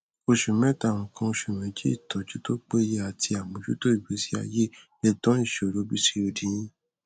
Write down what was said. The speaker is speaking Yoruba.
oṣù méta nǹkan oṣù méjì ìtọjútó péye àti àmọjútó ìgbésí ayé lè tá ìṣòro pcod yín